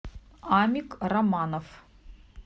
амик романов